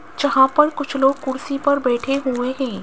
जहां पर कुछ लोग कुर्सी पर बैठे हुए हैं।